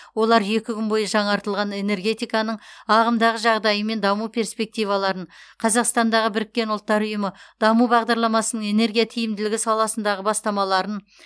олар екі күн бойы жаңартылатын энергетиканың ағымдағы жағдайы мен даму перспективаларын қазақстандағы бірккен ұлттар ұйымы даму бағдарламасының энергия тиімділігі саласындағы бастамаларын